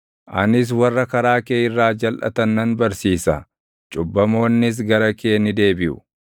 Anis warra karaa kee irraa jalʼatan nan barsiisa; cubbamoonnis gara kee ni deebiʼu.